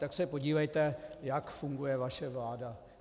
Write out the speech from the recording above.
Tak se podívejte, jak funguje vaše vláda.